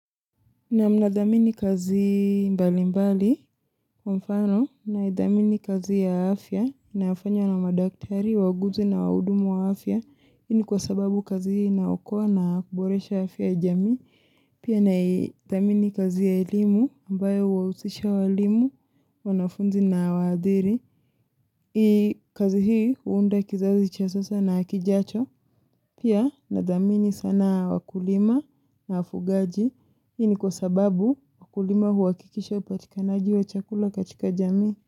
Na mnathamini kazi mbali mbali wa mfano naithamini kazi ya afya nafanya na madaktari wauguzi na wahudumu wa afya hii ni kwa sababu kazi hii inaokoa na kuboresha afya ya jamii pia naithamini kazi ya elimu ambayo huwahusisha walimu wanafunzi na waadhiri. Hii kazi hii huunda kizazi cha sasa na kijacho pia nathamini sana wakulima na wafugaji hii ni kwa sababu wakulima huhakikisha upatikanaji wa chakula katika jamii.